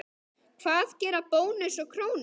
Hvað gera Bónus og Krónan?